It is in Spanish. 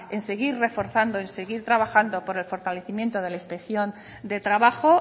seguir reforzando y seguir trabajando por el fortalecimiento de la inspección de trabajo